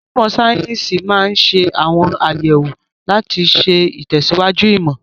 Onímọ̀ sáyẹ́sì máa ń ṣe àwọn àyẹ̀wò láti ṣe ìtẹ̀síwájú ìmọ̀.